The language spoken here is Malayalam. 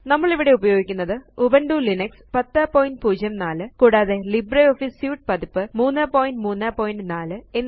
നമ്മളിവിടെ ഉപയോഗിക്കുന്നത് ഉബുന്റു ലിനക്സ് 1004 കൂടാതെ ലിബ്രിയോഫീസ് സ്യൂട്ട് പതിപ്പ് 334